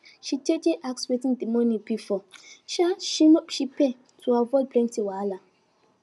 she jeje ask wetin de monie be for sha she pay to avoid plenty wahala